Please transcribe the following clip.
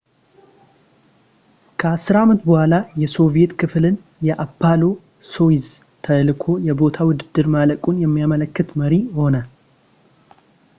ከአስር ዓመት በኋላ የሶቪዬት ክፍልን የአፖሎ ሶዩዝ ተልዕኮ የቦታ ውድድር ማለቁን የሚያመለክት መሪ ሆነ